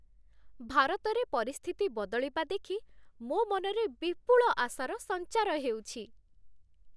ଭାରତରେ ପରିସ୍ଥିତି ବଦଳିବା ଦେଖି ମୋ ମନରେ ବିପୁଳ ଆଶାର ସଞ୍ଚାର ହେଉଛି।